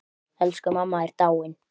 Elsku mamma er dáin.